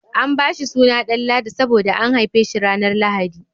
An bashi suna Danladi saboda an haife shi ranar lahadi